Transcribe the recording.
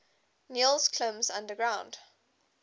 niels klim's underground